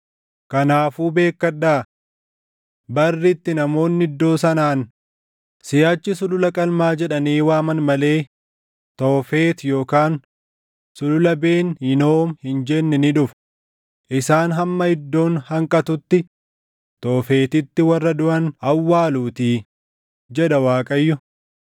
Isaan ilmaanii fi intallan isaanii achitti ibiddaan gubuuf jedhanii Sulula Ben Hinoom keessatti iddoo sagadaa Toofet ijaaran; kun immoo waan ani isaan hin ajajin yookaan yaada kootti hin dhufinii dha.